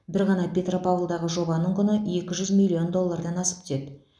бір ғана петропавлдағы жобаның құны екі жүз миллион доллардан асып түседі